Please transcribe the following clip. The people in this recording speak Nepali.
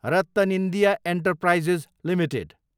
RattanIndia enterprises Ltd